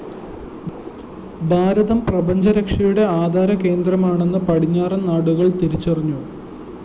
ഭാരതം പ്രപഞ്ചരക്ഷയുടെ ആധാരകേന്ദ്രമാണെന്ന് പടിഞ്ഞാറന്‍ നാടുകള്‍ തിരിച്ചറിഞ്ഞു